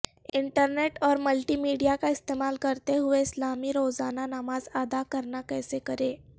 internet اور multimedia کا استعمال کرتے ہوئے اسلامی روزانہ نماز ادا کرنا کیسے کریں